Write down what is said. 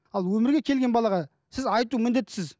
ал өмірге келген балаға сіз айту міндеттісіз